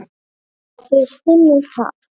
Þið finnið það?